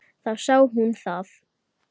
Þá sá hún það.